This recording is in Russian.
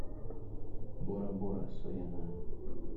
бора бора сояна